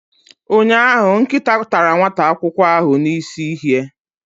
ụnyahụ, nkịta tara nwata akwụkwọ n'isihie.